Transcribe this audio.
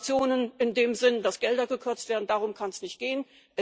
Sanktionen in dem Sinne, dass Gelder gekürzt werden darum kann es nicht gehen.